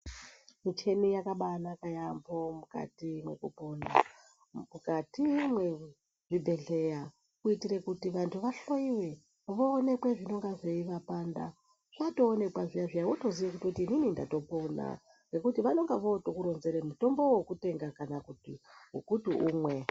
Micheni yakabaanaka yamho mukati mwekupona ,mukati mwezvibhedhleya kuitire kuti vanthu vahloiwe voonekwe zvinonga zveivapanda. Watoonekwa zviya-zviya, wotoziye kuti inini ndatopona ngekuti vanonga votokuronzere mutombo wekutenga kana wekuti umwe.